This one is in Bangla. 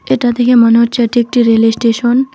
এটা দেখে মনে হচ্ছে এটি একটি রেলের স্টেশন ।